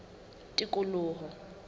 tikoloho